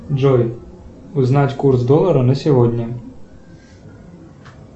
джой узнать курс доллара на сегодня